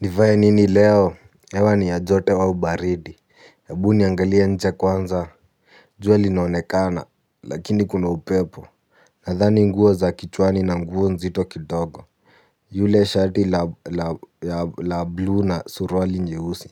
Nivae nini leo? Hewa ni ya joto au baridi, hebu niangalie nje kwanza jua linaonekana, lakini kuna upepo nadhani nguo za kichwani na nguo nzito kidogo lile shati la bluu na suruali nyeusi,